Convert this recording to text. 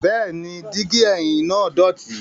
Bẹẹni, digi ẹhim naa dọti